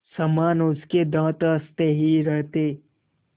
समान उसके दाँत हँसते ही रहते